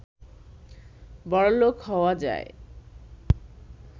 বড়লোক হওয়া যায়